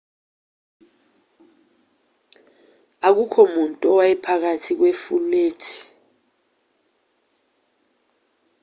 akukho muntu owayephakathi kwefulethi